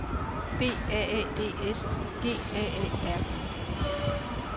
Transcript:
B A A D S G A A R D